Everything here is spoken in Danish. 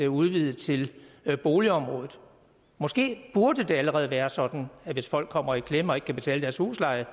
udvide til boligområdet måske burde det allerede være sådan at hvis folk kommer i klemme og ikke kan betale deres husleje